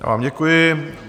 Já vám děkuji.